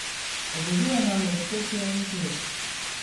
Obožuje namreč petje in ples.